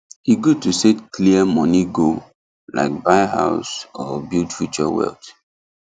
e good to set clear money goal like buy house or build future wealth